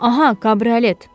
Aha, kabriolet!